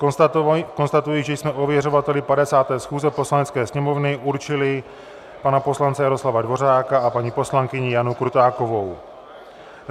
Konstatuji, že jsme ověřovateli 50. schůze Poslanecké sněmovny určili pana poslance Jaroslava Dvořáka a paní poslankyni Janu Krutákovou.